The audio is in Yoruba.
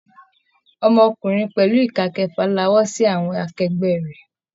Ọmọkùnrin pẹlu ika kẹfà lawọ́ sí àwọn akẹgbẹ rẹ.